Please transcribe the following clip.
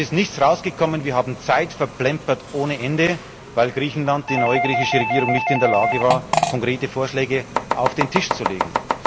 Es ist nichts herausgekommen, wir haben Zeit verplempert ohne Ende, weil Griechenland die neue griechische Regierung nicht in der Lage war, konkrete Vorschläge auf den Tisch zu legen.